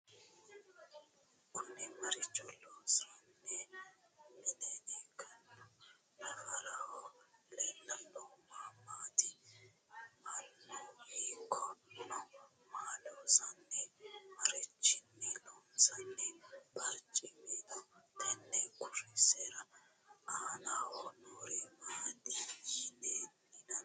Kunni maricho loosanni mine ikkanno? naffaraho leelannohu ma maatti? mannu hiikko no? Maa loosanni? Marichinni loonsoonni bariccimmi no? tenne kurisera aannaho noori maatti yinnanni?